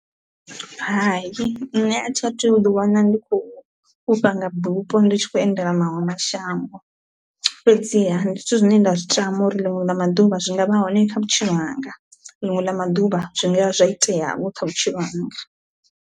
Hai nṋe a thi a thu u ḓi wana ndi khou fhufha nga bupho ndi tshi kho endela maṅwe mashango, fhedziha ndi zwithu zwine nda zwi tama uri ḽiṅwe ḽa maḓuvha zwi nga vha hone kha vhutshilo hanga ḽiṅwe ḽa maḓuvha zwi nga ya zwa itea vho kha vhutshilo hanga.